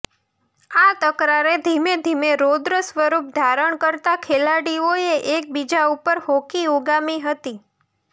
આ તકરારે ધીમે ધીમે રૌદ્ર સ્વરૂપ ધારણ કરતા ખેલાડીઓએ એકબીજા ઉપર હોકી ઉગામી હતી